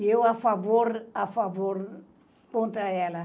E eu, a favor, a favor, contra ela.